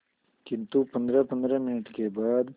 किंतु पंद्रहपंद्रह मिनट के बाद